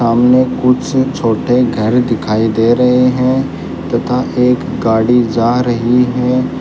सामने कुछ छोटे घर दिखाई दे रहे हैं तथा एक गाड़ी जा रही है।